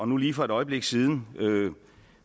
nu lige for et øjeblik siden